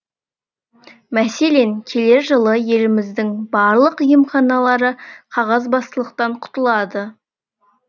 мәселен келер жылы еліміздің барлық емханалары қағазбастылықтан құтылады